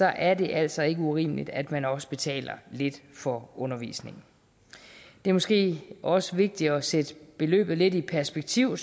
er det altså ikke urimeligt at man også betaler lidt for undervisningen det er måske også vigtigt at sætte beløbet lidt i perspektiv